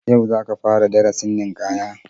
Yau za ka fara darasin ninkaya